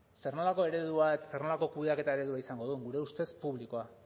zer nolako eredua zer nolako kudeaketa eredua izango duen gure ustez publikoa